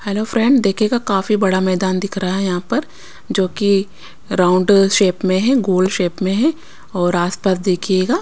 hello friend देखिएगा काफी बड़ा मैदान दिख रहा है यहाँ पर जो कि राउंड शेप में है गोल शेप में है और आसपास देखिएगा--